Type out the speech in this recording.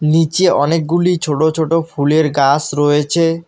নীচে অনেকগুলি ছোট ছোট ফুলের গাস রয়েচে।